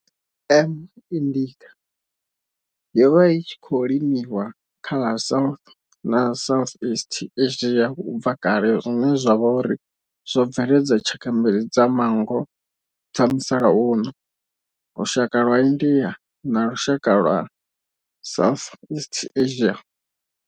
M. indica yo vha i tshi khou limiwa kha ḽa South na Southeast Asia ubva kale zwine zwa vha uri zwo bveledza tshaka mbili dza manngo dza musalauno, lushaka lwa India na lushaka lwa Southeast Asia.